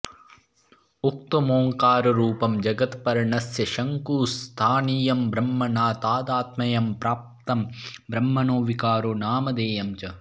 उक्तमोङ्काररूपं जगत्पर्णस्य शङ्कुस्थानीयं ब्रह्मणा तादात्म्यं प्राप्तं ब्रह्मणो विकारो नामधेयं च